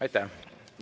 Aitäh!